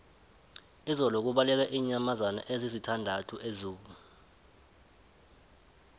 izolo kubaleke iinyamazana ezisithandathu ezoo